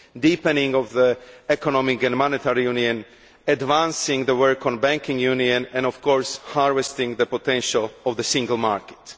deepening of the economic and monetary union, advancing the work on a banking union and, of course, harvesting the potential of the single market.